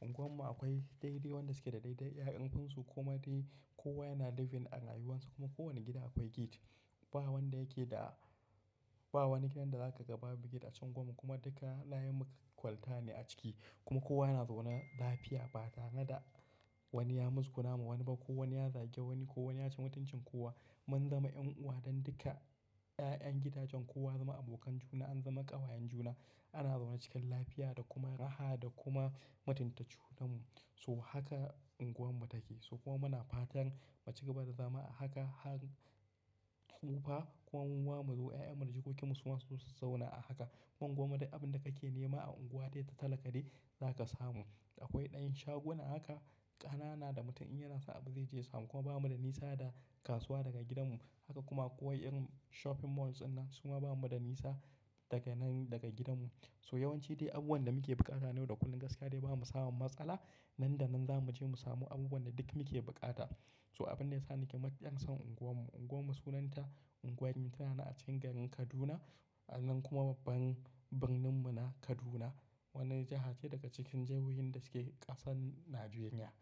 Unguwar mu akwai dai-dai wan da suke da daidai 'ya'yan kunsu kuma dai kowa yana living a rayuwansa kuma kowane gida akwai gate. Ba wanda yake da, ba wani gidan da zaka ga babu gate a cikin unguwar mu kuma duka layin mu kwalta ne a ciki. Kuma kowa yana zaune lafiya ba tare da wani ya yi matsguna ma wani ba, ko wani ya zage wani, ko wani ya ci mutuncin kowa. Mun zama 'yan uwa don duka 'ya'yan gidajen, kowa ya zama abokan juna, an zama ƙawayen juna. Ana zaune cikin lafiya da kuma raha da kuma matunta junan mu. So haka unguwar mu take. So kuma muna fatan mu cigaba da zama a haka, har tsufa kuma muma mu zo 'ya'yan mu da jikokin mu su ma su zauna a haka. Unguwar mu dai abin da kake nema a unguwa dai ta talaka dai za ka samu. Akwai ɗayan shaguna haka ƙanana da mutum in yana so abu zai je ya samu. Kuma bamu da nisa da kasuwa daga gidan mu. Haka kuma ko wa irin shopping malls inna suma bamu da nisa daga nan daga gidan mu. So yawanci dai abun da muke buƙata ne da kullum gaskiya dai bamu samun matsala nan da nan za mu je mu samu abubuwan da duk muke buƙata. So abin da ya sa nake matukar son unguwar mu. Unguwar mu sunanta Ungwan ni tana a cikin garin Kaduna. Nan kuma babban birnin mu na Kaduna. Wani jiha ce daga cikin jahohin da suke ƙasar Najeriya.